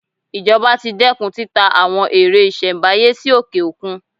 Ìjọba ti dẹ́kun títa àwọn ère ìṣelm̀báyé sí òkè-òkun.